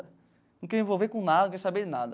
Não queria envolver com nada, nem saber de nada.